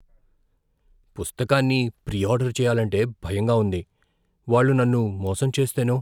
పుస్తకాన్ని pre order చేయాలంటే భయంగా ఉంది, వాళ్ళు నన్ను మోసం చేస్తేనో?